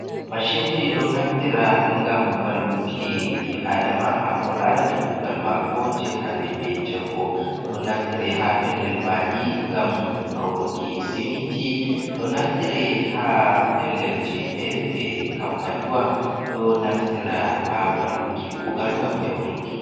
Mashinji ɗo naftira ngam valluki ɓi aɗama, hako larani kugal mako je hanɗe ɓe jango. Ɗon naftire ha pellel maɗi ngam hauruki siminti ɗo naftire ha pellelji fere-fere. Kampaniwa ɗon naftira ha valluki kugal ngam yauɗinki.